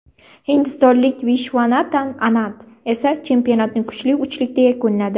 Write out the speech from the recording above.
Hindistonlik Vishvanatan Anand esa chempionatni kuchli uchlikda yakunladi.